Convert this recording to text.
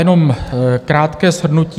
Jenom krátké shrnutí.